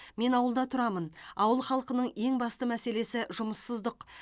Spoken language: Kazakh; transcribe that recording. мен ауылда тұрамын ауыл халқының ең басты мәселесі жұмыссыздық